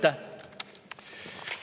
Aitäh!